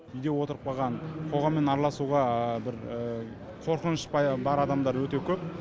үйде отырып қалған қоғаммен араласуға бір қорқыныш бар адамдар өте көп